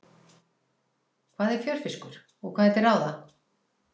Hvað er fjörfiskur og hvað er til ráða?